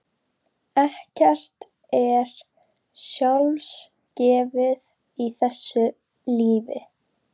Ekkert er sjálfgefið í þessu lífi.